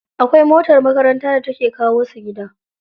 Akwai motar makaranta da take kawo su gida.